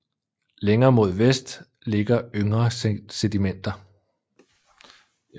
Længere mod vest ligger yngre sedimenter